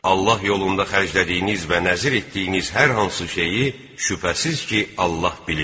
Allah yolunda xərclədiyiniz və nəzir etdiyiniz hər hansı şeyi şübhəsiz ki, Allah bilir.